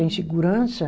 Sem segurança.